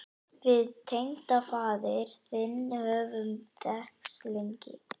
Við tengdafaðir þinn höfum þekkst lengi.